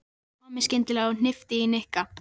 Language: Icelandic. sagði Tommi skyndilega og hnippti í Nikka.